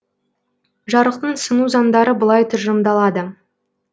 жарықтың сыну заңдары былай тұжырымдалады